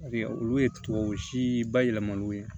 olu ye tubabu si bayɛlɛmaliw ye